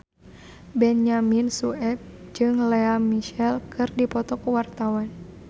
Benyamin Sueb jeung Lea Michele keur dipoto ku wartawan